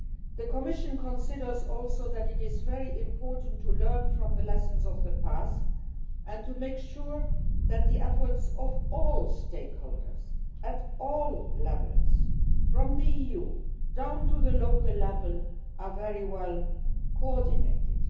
The Commission also considers that it is very important to learn from the lessons of the past and to make sure that the efforts of all stakeholders, at all levels from the EU down to the local level, are very well coordinated.